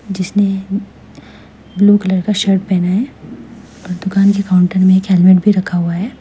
जिसने blue colour का shirt पहना है और दुकान के काउंटर में एक हेलमेट भी रखा हुआ है।